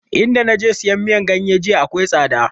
In da naje sayan miyan ganye jiya akwai tsada